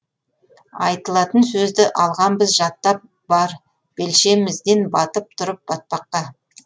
айтылатын сөзді алғанбыз жаттап бар белшемізден батып тұрып батпаққа